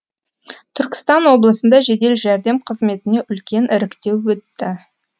түркістан облысында жедел жәрдем қызметіне үлкен іріктеу өтті